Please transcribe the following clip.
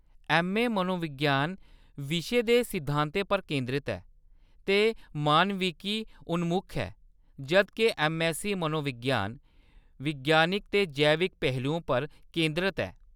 MA. मनोविज्ञान विशे दे सिद्धांतें पर केंदरत ऐ ते मानविकी उन्मुख ऐ, जद् के ऐम्म.ऐस्ससी मनोविज्ञान विज्ञानिक ते जैविक पहलुओं पर केंदरत ऐ।